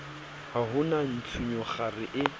ha ho na ntshunyekgare e